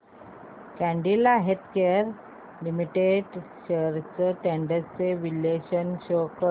Cadila Healthcare Limited shares trends चे विश्लेषण show कर